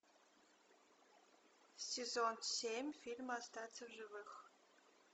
сезон семь фильма остаться в живых